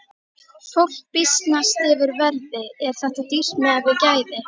Fólk býsnast yfir verði, er þetta dýrt miðað við gæði?